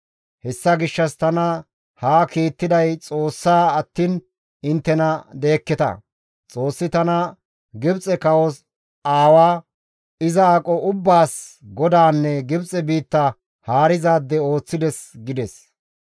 Hessa gishshas tana haa kiittiday Xoossaa attiin inttena deekketa. Xoossi tana Gibxe kawos aawa, iza aqo ubbaas godaanne Gibxe biitta haarizaade ooththides» gides.